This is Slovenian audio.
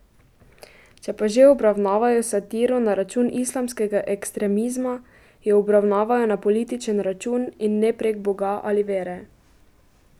Če pa že obravnavajo satiro na račun islamskega ekstremizma, jo obravnavajo na političen račun, in ne prek Boga ali vere.